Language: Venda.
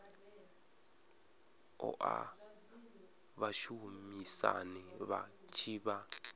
oa vhashumisani vha tshi vha